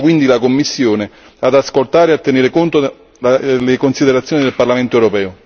Invito quindi la Commissione ad ascoltare e a tenere conto delle considerazioni del Parlamento europeo.